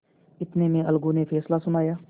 इतने में अलगू ने फैसला सुनाया